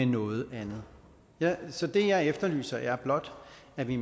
noget andet så det jeg efterlyser er blot at vi